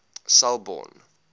selborne